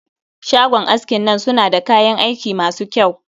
Shagon askin nan suna da kayan aiki masu kyau